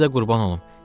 Sizə qurban olum.